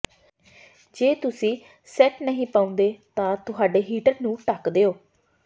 ਜੇ ਤੁਸੀਂ ਸੈੱਟ ਨਹੀਂ ਪਾਉਂਦੇ ਤਾਂ ਤੁਹਾਡੇ ਹਿੱਟਰ ਨੂੰ ਢੱਕ ਦਿਓ